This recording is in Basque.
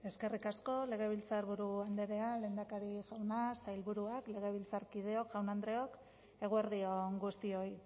eskerrik asko legebiltzarburu andrea lehendakari jauna sailburuak legebiltzarkideok jaun andreok eguerdi on guztioi